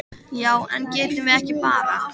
Já, en getum við ekki bara.